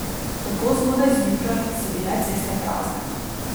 Tako zgodaj zjutraj so bile ceste prazne.